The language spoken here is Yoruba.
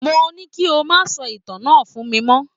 Mo ní kí o má sọ ìtàn náà fún mi mọ́